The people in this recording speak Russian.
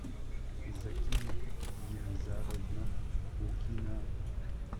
закия елизаровна укина